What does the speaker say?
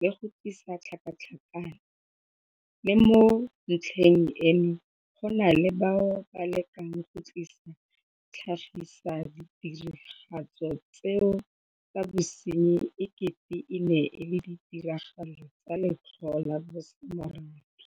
le go tlisa tlhakatlhakano, le mo ntlheng eno go na le bao ba lekang go tlhagisa ditiragalo tseno tsa bosenyi e kete e ne e le ditiragalo tsa letlhoo la bosemorafe.